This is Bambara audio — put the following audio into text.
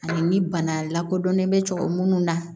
Ani bana lakodɔnnen bɛ cɛkɔrɔ minnu na